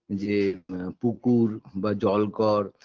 যে পুকুর বা জলকর